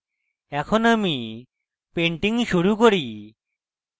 এখন আমি painting শুরু করি